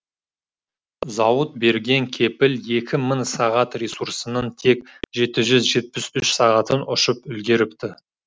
зауыт берген кепіл екі мың сағат ресурсының тек жеті жүз жетпіс үш сағатын ұшып үлгеріпті